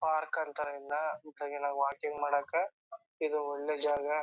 Park ಅಂತರ ಇದ್ನ walking ಮಾಡಾಕ ಇದು ಒಳ್ಳೆ ಜಾಗ .